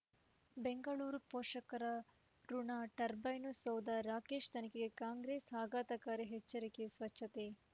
ಬೆಂಗಳೂರು ಪೋಷಕರಋಣ ಟರ್ಬೈನು ಸೌಧ ರಾಕೇಶ್ ತನಿಖೆಗೆ ಕಾಂಗ್ರೆಸ್ ಆಘಾತಕಾರಿ ಎಚ್ಚರಿಕೆ ಸ್ವಚ್ಛತೆ